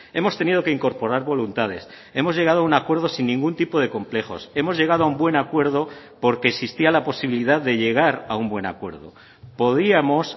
hemos tenido que incorporar voluntades hemos llegado a un acuerdo sin ningún tipo de complejos hemos llegado a un buen acuerdo porque existía la posibilidad de llegar a un buen acuerdo podíamos